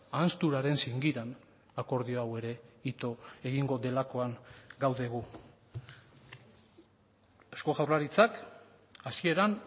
ahanzturaren zingiran akordio hau ere ito egingo delakoan gaude gu eusko jaurlaritzak hasieran